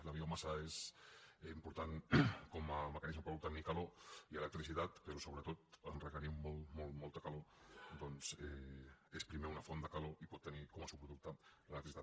la biomassa és important com a mecanisme per obte·nir calor i electricitat però sobretot en requerir molta molta calor és primer una font de calor i pot tenir com a subproducte l’electricitat